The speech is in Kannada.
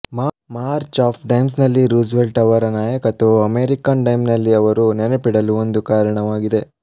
ಮಾರ್ಚ್ ಆಫ್ ಡೈಮ್ಸ್ನಲ್ಲಿ ರೂಸ್ವೆಲ್ಟ್ ಅವರ ನಾಯಕತ್ವವು ಅಮೆರಿಕನ್ ಡೈಮ್ನಲ್ಲಿ ಅವರು ನೆನಪಿಡಲು ಒಂದು ಕಾರಣವಾಗಿದೆ